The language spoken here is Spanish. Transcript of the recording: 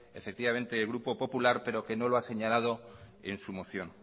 el grupo popular pero que no lo ha señalado en su moción